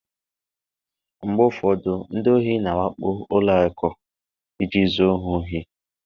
mgbe ụfọdụ ndị ohi na-awakpo ụlọ akụ iji zuo ha ohi